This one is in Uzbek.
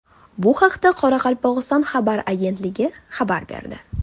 Bu haqda Qoraqalpog‘iston xabar agentligi xabar berdi .